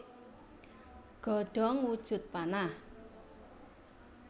Godhong wujud panah